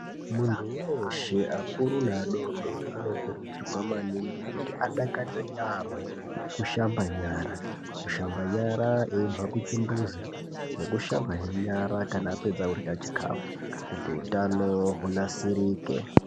Muntu weshe akuru neadodori anokurudzirwa maningi kuti adakarire yampo kushamba nyara kushamba nyara eibva kuchimbuzi nekushamba he nyara apedza kurya chikafu.